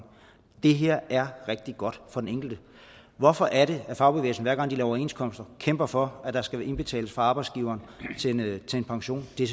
det her er rigtig godt for den enkelte hvorfor er det at fagbevægelsen hver gang de laver overenskomster kæmper for at der skal indbetales fra arbejdsgiveren til en pension det er